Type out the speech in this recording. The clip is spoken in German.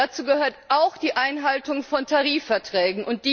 Dazu gehört auch die Einhaltung von Tarifverträgen.